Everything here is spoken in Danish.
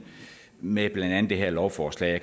med blandt andet det her lovforslag